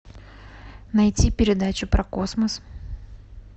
найти передачу про космос